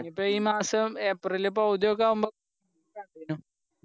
അപ്പൊ ഈ മാസം ഏപ്രില് പകുതിയൊക്കെ ആവുമ്പോ